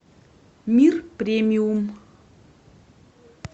мир премиум